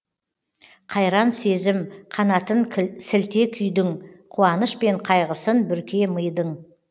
қайран сезім қанатын сілте күйдің қуаныш пен қайғысын бүрке мидың